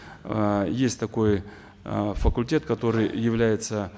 э есть такой э факультет который является